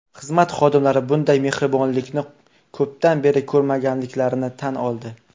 Xizmat xodimlari bunday mehribonlikni ko‘pdan beri ko‘rmaganliklarini tan oldi.